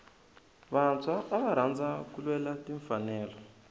vantshwa ava rhandza ku lwela timfanelo